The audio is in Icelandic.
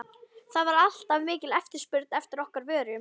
það var alltaf mikil eftirspurn eftir okkar vörum.